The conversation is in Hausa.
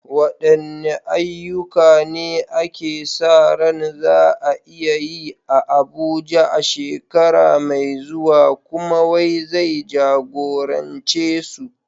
Wadanne ayyuka ne ake sa ran za a yi a Abuja a shekara mai zuwa, kuma wa zai jagorance su?